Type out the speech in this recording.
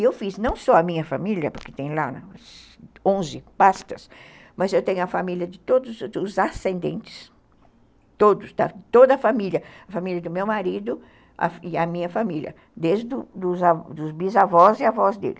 E eu fiz, não só a minha família, porque tem lá onze pastas, mas eu tenho a família de todos os ascendentes, toda a família, a família do meu marido e a minha família, desde os bisavós e avós dele.